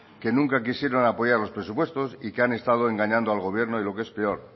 que nunca quisieron apoyar los presupuestos y que han estado engañando al gobierno y lo que es peor